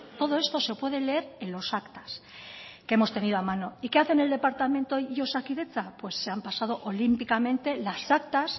todo esto se puede leer en los actas que hemos tenido a mano y qué hacen el departamento y osakidetza pues se han pasado olímpicamente las actas